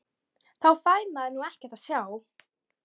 Þá fær maður nú ekkert að sjá!!